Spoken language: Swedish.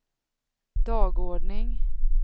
dagordning